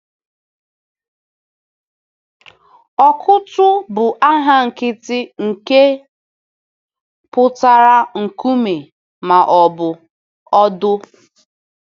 “Ọkụ́tụ̀” bụ aha nkịtị nke pụtara “nkume” ma ọ bụ “ọ̀dò.”